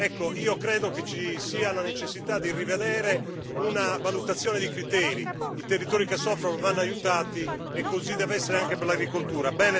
Ecco, io credo che ci sia la necessità di rivedere una valutazione dei criteri i territori che soffrono vanno aiutati e così deve essere anche per l'agricoltura.